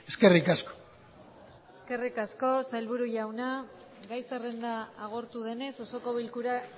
eskerrik asko eskerrik asko sailburu jauna gai zerrenda agortu denez osoko bilkura